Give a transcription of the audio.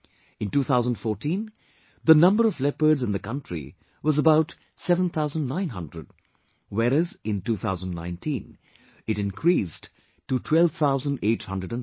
In 2014, the number of leopards in the country was about 7,900, whereas in 2019 it increased to 12,852